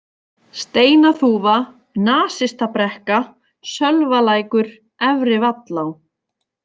Steinaþúfa, Nasistabrekka, Sölvalækur, Efri-Vallá